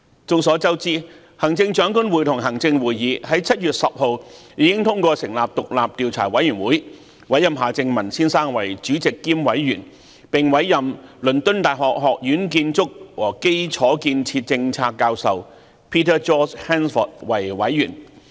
眾所周知，行政長官會同行政會議在7月10日已通過成立獨立調查委員會，委任夏正民先生為主席兼委員，並委任倫敦大學學院建築和基礎建設政策教授 Peter George HANSFORD 為委員。